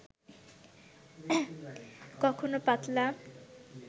কখনো পাতলা